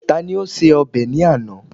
Tá ni ó ṣe ọbẹ̀ ní àná?